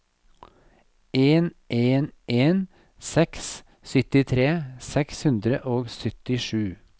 en en en seks syttitre seks hundre og syttisju